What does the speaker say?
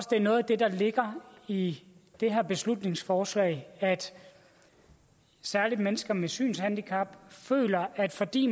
det er noget af det der ligger i det her beslutningsforslag særlig mennesker med synshandicap føler at fordi